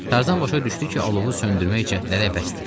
Tarzan başa düşdü ki, alovu söndürmək cəhdləri əbəsdir.